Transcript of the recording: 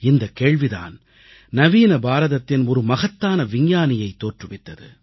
இந்தக் கேள்வி தான் நவீன பாரதத்தின் ஒரு மகத்தான விஞ்ஞானியைத் தோற்றுவித்தது